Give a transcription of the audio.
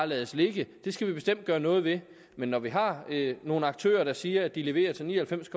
lade ligge det skal vi bestemt gøre noget ved men når vi har nogle aktører der siger at de leverer til ni og halvfems